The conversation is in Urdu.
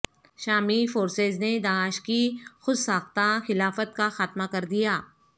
شامی فورسز نے داعش کی خودساختہ خلافت کا خاتمہ کر دیا